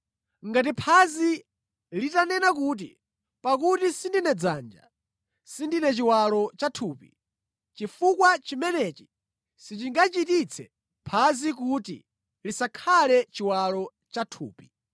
Ngati phazi litanena kuti, “Pakuti sindine dzanja, sindine chiwalo cha thupi.” Chifukwa chimenechi sichingachititse phazi kuti lisakhale chiwalo cha thupi.